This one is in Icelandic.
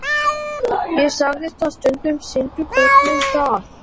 Ég sagði að stundum sýndu börnin það.